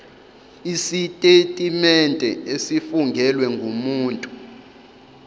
isitetimente esifungelwe ngumuntu